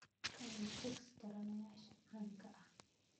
Ka hel chicks taranayaasha caanka ah.